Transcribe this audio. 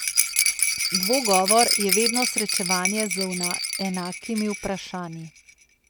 Dvogovor je vedno srečevanje z enakimi vprašanji.